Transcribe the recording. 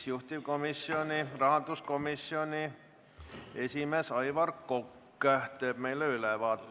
Juhtivkomisjoni rahanduskomisjoni esimees Aivar Kokk teeb meile enne ülevaate.